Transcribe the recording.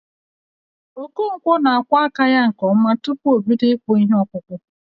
Okonkwọ n'akwọ aka ya nke ọma tupu o bido ịkpụ ihe okpụkpụ